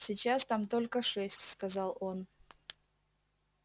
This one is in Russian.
сейчас там только шесть сказал он